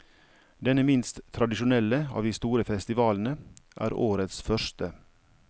Denne minst tradisjonelle av de store festivalene er årets første.